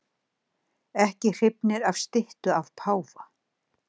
Ekki hrifnir af styttu af páfa